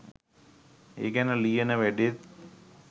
ඒ ගැන ලියන වැඩෙත්